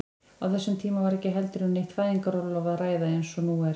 Á þessum tíma var ekki heldur um neitt fæðingarorlof að ræða eins og nú er.